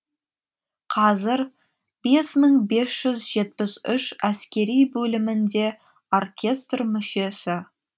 қазір бес мың бес жүз жетпіс үш әскери бөлімінде оркестр мүшесі